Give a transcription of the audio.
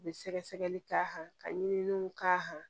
U bɛ sɛgɛsɛgɛli k'a kan ka ɲini k'a